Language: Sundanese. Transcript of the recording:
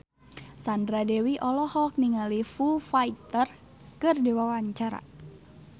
Sandra Dewi olohok ningali Foo Fighter keur diwawancara